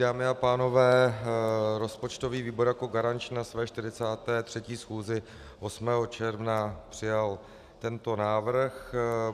Dámy a pánové, rozpočtový výbor jako garanční na své 43. schůzi 8. června přijal tento návrh.